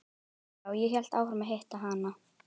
Og já, ég hélt áfram að hitta hana.